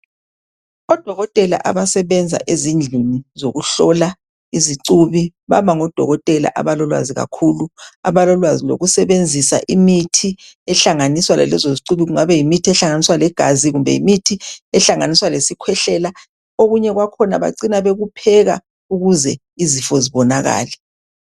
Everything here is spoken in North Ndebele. Odokotela abasebenza ezindlini zokuhlola izicubi baba ngodokotela abalolwazi kakhulu abalolwazi lokusebenzisa imithi ehlanganiswa lalezo zicubi kungabayimithi ehlanganiswa legazi kumbe yimithi ehlanganiswa lesikhwehlela. Okunye kwakhona bacina bekupheka ukuze izifo zibonakale.